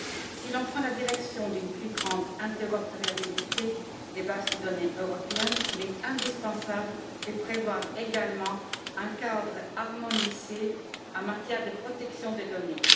Si l'on prend la direction d'une plus grande interopérabilité des bases de données européennes, il est indispensable de prévoir également un cadre harmonisé en matière de protection des données.